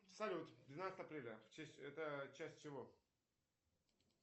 салют двенадцатое апреля это часть чего